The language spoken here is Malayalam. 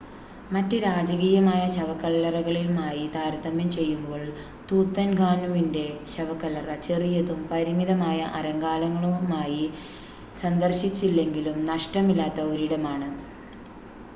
മറ്റ് രാജകീയമായ ശവക്കല്ലറികളുമായി താരതമ്യം ചെയ്യുമ്പോൾ തൂത്തൻഖാനുമിൻ്റെ ശവക്കല്ലറ ചെറിയതും പരിമിതമായ അലങ്കാരങ്ങളുമായി സന്ദർശിച്ചില്ലെങ്കിലും നഷ്ടമില്ലാത്ത ഒരിടമാണ്